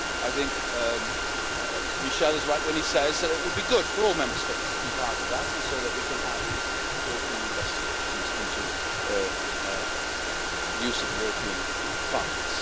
I think Mr Michel is right when he says that it would be good for all Member States to be part of that so that we can have these European investigations into the use of European funds.